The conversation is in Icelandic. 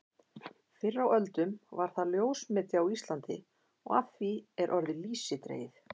Fyrr á öldum var það ljósmeti á Íslandi og af því er orðið lýsi dregið.